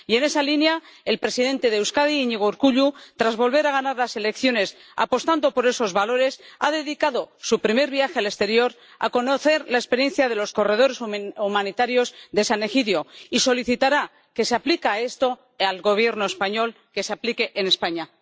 Y, en esa línea, el presidente de Euskadi, Iñigo Urkullu, tras volver a ganar las elecciones, apostando por esos valores, ha dedicado su primer viaje al exterior a conocer la experiencia de los corredores humanitarios de San Egidio y solicitará que se aplique esto al Gobierno español, que se aplique en España.